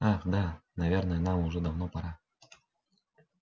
ах да наверное нам уже давно пора